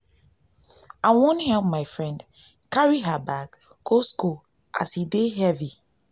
i wan help my friend carry her bag go skool as e dey heavy.